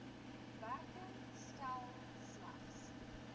werking stel slegs